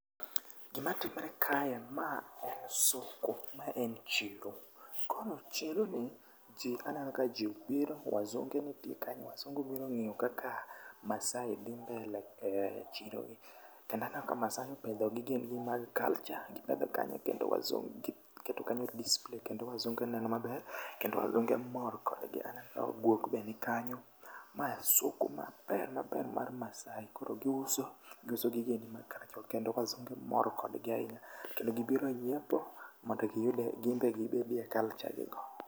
Gima timre kae, ma en soko, ma en chiro. Koro chiro ni, jii aneno ka ji obiro, wazunge nitie kanyo. Wazunge obiro ng'io kaka masai dhi mbele e chiro ni. Kendo aneno ka masai opedho gigegi mag culture, gipedho kanyo kendo wazu gi giketo kanyoendo display kendo wazunge neno maber kendo wazunge mor kodgi. Aneno guok be ni kanyo. Mae soko maber maber mar masai, koro giuso, giuso gigegi mag culture, kendo wazunge mor kodgi ainya kendo gibiro nyiepo mondo giyude ginbe gibedie culture gi no.